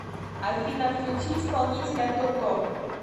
афина включи исполнителя тото